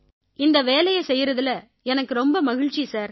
இந்த வேலையை செய்யறதுல எனக்கு ரொம்ப மகிழ்ச்சி சார்